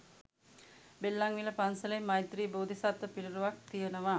බෙල්ලන්විල පන්සලෙත් මෛත්‍රි බෝධිසත්ව පිළිරුවක් තියනවා.